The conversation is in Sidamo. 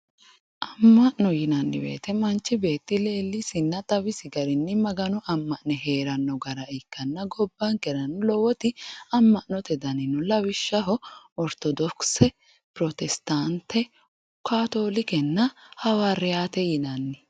Ama'no yinnanni woyte manchi beetti leelisinna xawisi garinni Magano ama'ne heerano gara ikkanna gobbankera lowoti ama'note danni no lawishshaho orthodokise, pirosittate kattolikenna Hawariyate yinnanni.